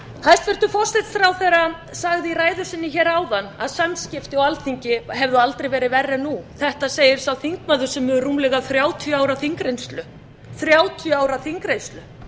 hæstvirtur forsætisráðherra sagði í ræðu sinni áðan að samskipti á alþingi hefðu aldrei verið verri en nú þetta segir sá þingmaður sem hefur rúmlega þrjátíu ára þingreynslu